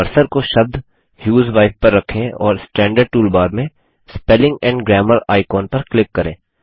अब कर्सर को शब्द ह्यूजवाइफ पर रखें और स्टैन्डर्ड टूल बार में स्पेलिंग एंड ग्रामर आइकॉन पर क्लिक करें